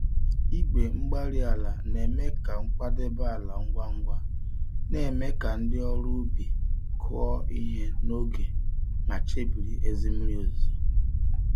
igwe-mgbárí-ala na-eme ka nkwadebe ala ngwa ngwa, némè' ka ndị ọrụ ubi kụọ ihe n'oge mà chebiri ezi mmiri ozuzo